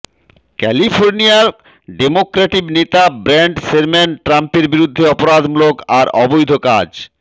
ক্যালিফোর্নিয়ার ডেমোক্র্যাটিক নেতা Brad Sherman ট্রাম্পের বিরুদ্ধে অপরাধমূলক আর অবৈধ কাজ